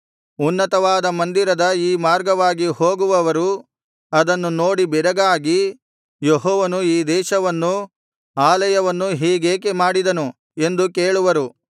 ಉನ್ನತವಾದ ಮಂದಿರದ ಈ ಮಾರ್ಗವಾಗಿ ಹೋಗುವವರು ಅದನ್ನು ನೋಡಿ ಬೆರಗಾಗಿ ಯೆಹೋವನು ಈ ದೇಶವನ್ನೂ ಆಲಯವನ್ನೂ ಹೀಗೇಕೆ ಮಾಡಿದನು ಎಂದು ಕೇಳುವರು